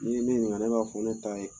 N'i ye ne ɲininka ne b'a fɔ ne ta ye